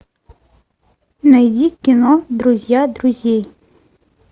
найди кино друзья друзей